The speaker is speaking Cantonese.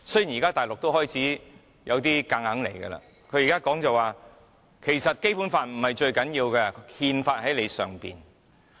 現在大陸開始有點橫着來，它說其實《基本法》並不是最重要的，因為有憲法在其之上。